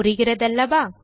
புரிகிறதல்லவா